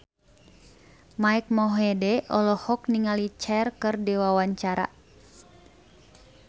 Mike Mohede olohok ningali Cher keur diwawancara